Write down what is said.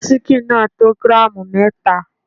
Síkìn náà tó gíràmù mẹta.